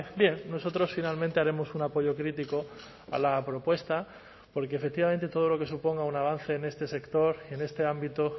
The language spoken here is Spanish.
bien nosotros finalmente haremos un apoyo crítico a la propuesta porque efectivamente todo lo que suponga un avance en este sector en este ámbito